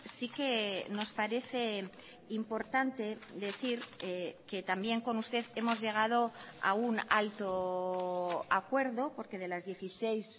sí que nos parece importante decir que también con usted hemos llegado a un alto acuerdo porque de las dieciséis